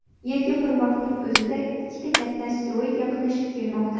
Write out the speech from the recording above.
Yerga bir vaqtning o‘zida ikkita katta asteroid yaqinlashib kelmoqda.